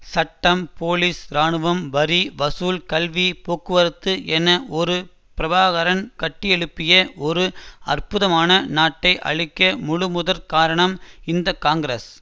சட்டம் போலீஸ் ராணுவம் வரி வசூல் கல்வி போக்குவரத்து என ஒரு பிரபாகரன் கட்டியெழுப்பிய ஒரு அற்புதமான நாட்டை அழிக்க முழு முதல் காரணம் இந்த காங்கிரஸ்